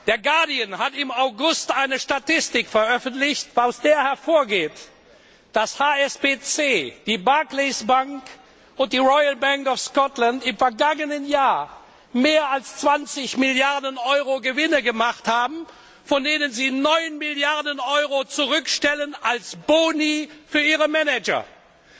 Der Guardian hat im August eine Statistik veröffentlicht, aus der hervorgeht, dass HSBC, die Barclays Bank und die Royal Bank of Scotland im vergangenen Jahr mehr als 20 Milliarden Euro Gewinne gemacht haben, von denen sie 9 Milliarden Euro als Boni für ihre Manager zurückstellen.